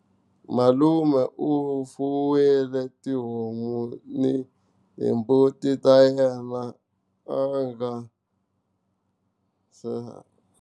Malume u fuwile tihomu ni hi mbuti ta yena a nga.